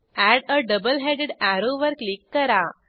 add a double headed arrow वर click करा